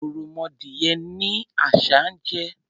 Ọ̀rọ̀mọdìyẹ ni àṣah ń jẹ.